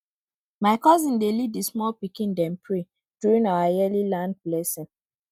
my cousin dey lead the small pikin dem pray during our yearly land blessing